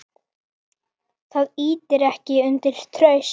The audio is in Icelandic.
Það ýtir ekki undir traust.